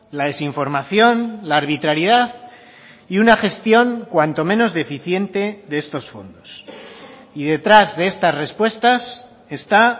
la desinformación la arbitrariedad y una gestión cuanto menos deficiente de estos fondos y detrás de estas respuestas está